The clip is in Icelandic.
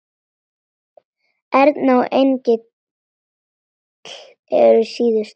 Erna og Engill eru síðust.